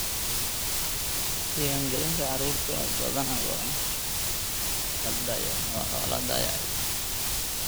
Diiwaangelinta carruurta badanaa waa la dayacay.